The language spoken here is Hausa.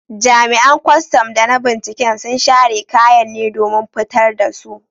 Jami’an kwastam da na binciken sun share kayan ne domin fitar da su.